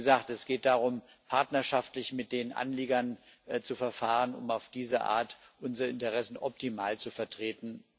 Wie gesagt, es geht darum, partnerschaftlich mit den Anliegern zu verfahren, um auf diese Art unsere Interessen optimal zu vertreten.